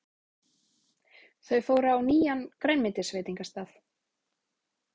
Þau fóru á nýjan grænmetisveitingastað.